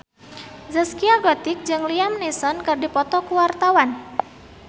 Zaskia Gotik jeung Liam Neeson keur dipoto ku wartawan